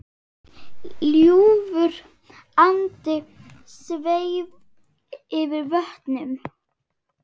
Ljúfur andi sveif yfir vötnum.